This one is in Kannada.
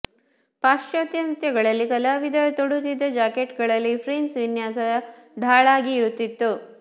ಪಾಶ್ಚಾತ್ಯ ನೃತ್ಯಗಳಲ್ಲಿ ಕಲಾವಿದರು ತೊಡುತ್ತಿದ್ದ ಜಾಕೆಟ್ಗಳಲ್ಲಿ ಫ್ರಿಂಜ್ ವಿನ್ಯಾಸ ಢಾಳಾಗಿ ಇರುತ್ತಿತ್ತು